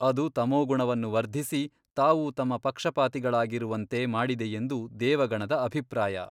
ಅದು ತಮೋಗುಣವನ್ನು ವರ್ಧಿಸಿ ತಾವೂ ತಮ್ಮ ಪಕ್ಷಪಾತಿಗಳಾಗಿರುವಂತೆ ಮಾಡಿದೆಯೆಂದು ದೇವಗಣದ ಅಭಿಪ್ರಾಯ.